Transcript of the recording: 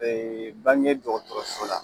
Be bange dɔgɔtɔrɔso la.